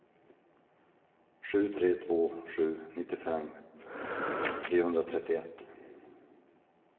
sju tre två sju nittiofem trehundratrettioett